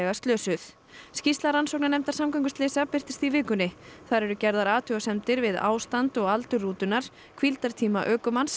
slösuð skýrsla rannsóknarnefndar samgönguslysa birtist í vikunni þar eru gerðar athugasemdir við ástand og aldur rútunnar hvíldartíma ökumanns